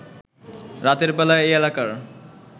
রাতের বেলা এই এলাকার